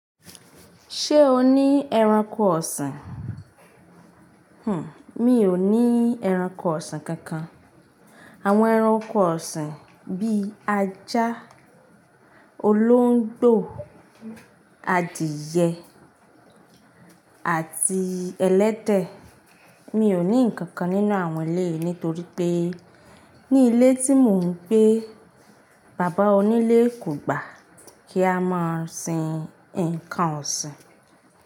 Ṣé o ní ẹranko ọ̀sìn? Hmm, mi ò ní ẹranko ọ̀sìn kankan. Àwọn ẹranko ọ̀sìn bí ajá, olóńgbò, adìẹ àti ẹlẹ́tẹ. Mi ò ní ǹkan kan nínú àwọn ilé yìí nítorí pé ní ilé tí mò ń gbé, bàbá onílé kò gbà kí a máa sin ǹkan ọ̀sìn.